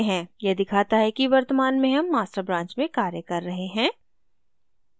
यह दिखाता है कि वर्तमान में हम master branch में कार्य कर रहे हैं